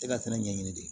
E ka fɛnɛ ɲɛɲini de